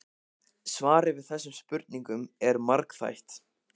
Svarið við þessum spurningum er margþætt.